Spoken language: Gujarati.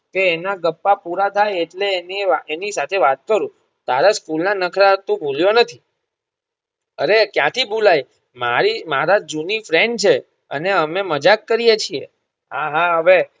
કે એના ગપ્પા પુરા થાય એટલે એની વા એની સાથે વાત કરું તારા સ્કૂલ ના નખરા તું ભુલ્યો નથી અરે ક્યાંથી ભુલાય મારી મારા જૂની friend છે અને અમે મજાક કરીયે છીએ આહા હવે